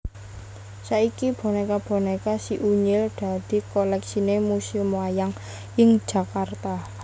Saiki bonéka bonéka Si Unyil dadi kolèksiné Museum Wayang ing Jakarta